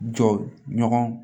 Jɔ ɲɔgɔn